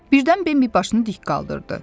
Birdən Bambi başını dik qaldırdı.